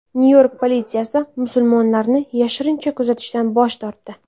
Nyu-York politsiyasi musulmonlarni yashirincha kuzatishdan bosh tortdi.